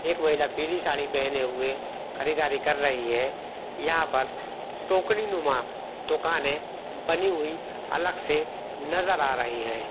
एक महिला पीली साड़ी पेहने हुए ख़रीददारी कर रही है यहाँ पर टोकरी नुमा दुकाने बनी हुई अलग से नजर आ रही है।